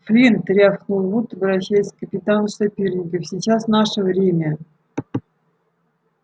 флинт рявкнул вуд обращаясь к капитану соперников сейчас наше время